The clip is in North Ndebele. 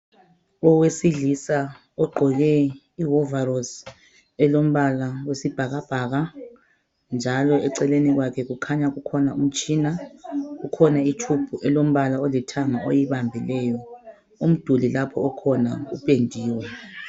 owesilisa ogqoke i wovolosi elombala oyisibhakabhaka njalo eceleni kwakhe kukhanya umtshina kukhona njalo i phayiphu ayibambileyo umduli lapho okhona upendiwe